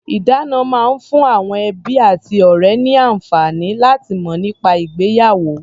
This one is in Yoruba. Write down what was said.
Ìdána máa ń fún àwọn ẹbí àti ọ̀rẹ́ ní àǹfààní láti mọ̀ nípa ìgbéyàwó.